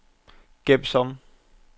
gem som